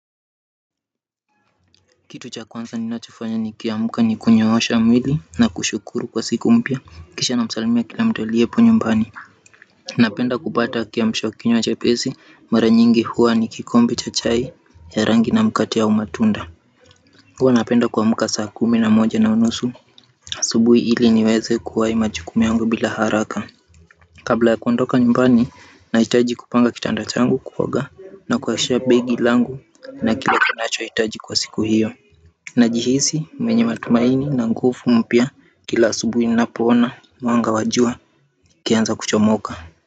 Kitu cha kwanza ninachofanya nikiamka ni kunyoosha mwili na kushukuru kwa siku mpya kisha namsalimia kila mtu aliyeponyumbani napenda kupata kiamshakinywa chapesi mara nyingi huwa ni kikombe cha chai ya rangi na mkati au matunda huwa napenda kuamka saa kumi na moja na nusu asubuhi ili niweze kuwai majukumu yangu bila haraka kabla ya kuondoka nyumbani nahitaji kupanga kitanda changu kuoga na kuwasha begi langu na kila kinachohitaji kwa siku hiyo najihisi mwenye matumaini na nguvu mpya kila asubui ninapoona mwanga wa jua ukianza kuchomoka.